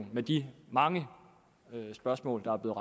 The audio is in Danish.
med de mange spørgsmål der er